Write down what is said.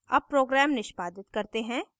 अब program निष्पादित करते हैं